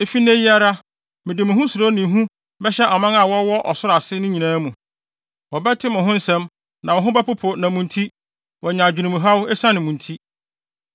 Efi nnɛ yi ara, mede mo ho suro ne hu bɛhyɛ aman a wɔwɔ ɔsoro ase nyinaa mu. Wɔbɛte mo ho nsɛm na wɔn ho bɛpopo na mo nti, wɔanya adwenemhaw esiane mo nti.”